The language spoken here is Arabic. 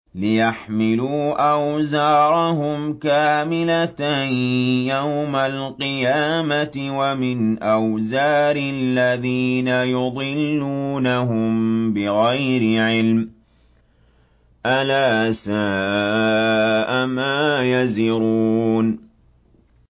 لِيَحْمِلُوا أَوْزَارَهُمْ كَامِلَةً يَوْمَ الْقِيَامَةِ ۙ وَمِنْ أَوْزَارِ الَّذِينَ يُضِلُّونَهُم بِغَيْرِ عِلْمٍ ۗ أَلَا سَاءَ مَا يَزِرُونَ